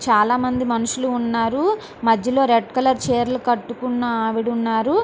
చాలా మంది మనుషులు ఉన్నారు మధ్యలో రెడ్ కలర్ చీరలు కట్టుకున ఆవిడ ఉన్నారు.